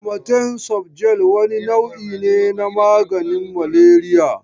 Amatem sofjel wani nau'i ne na maganin maleriya.